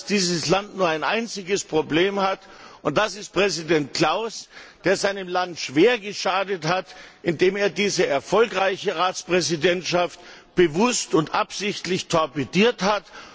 Dieses Land hat nur ein einziges Problem und das ist Präsident Klaus, der seinem Land schwer geschadet hat, indem er diese erfolgreiche Ratspräsidentschaft bewusst und absichtlich torpediert hat.